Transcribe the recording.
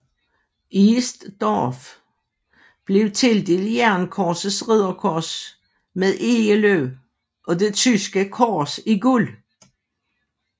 East Dorff blev tildelt Jernkorsets Ridderkors med egeløv og det tyske kors i guld